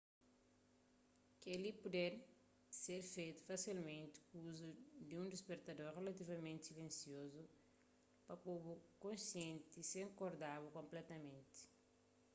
kel-li poder ser fetu fasilmenti ku uzu di un dispertador rilativamenti silensiozu pa po-bu konsienti sen korda-bu konpletamenti